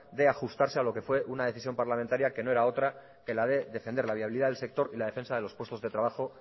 de ajustarse a lo que fue una decisión parlamentaria que no era otra que la de defender la viabilidad del sector y la defensa de los puestos de trabajo